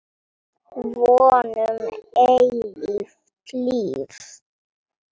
Von um eilíft líf.